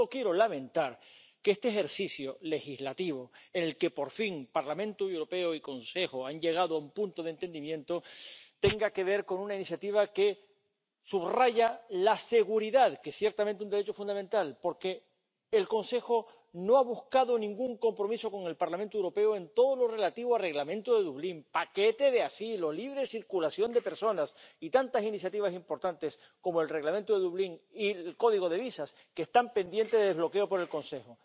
Solo quiero lamentar que este ejercicio legislativo, en el que por fin el Parlamento Europeo y el Consejo han llegado a un punto de entendimiento, tenga que ver con una iniciativa que subraya la seguridad, que es ciertamente un derecho fundamental, porque el Consejo no ha buscado ningún compromiso con el Parlamento Europeo en todo lo relativo al Reglamento de Dublín, paquete de asilo, libre circulación de personas y tantas iniciativas importantes como el Reglamento de Dublín y el código de visados, que están pendientes de desbloqueo por el Consejo.